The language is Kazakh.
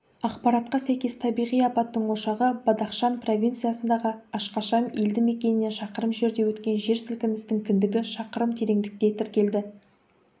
ақпаратқа сәйкес табиғи апаттың ошағы бадахшан провинциясындағы ашкашам елді мекенінен шақырым жерде өткен жер сілкінісінің кіндігі шақырым тереңдікте тіркелді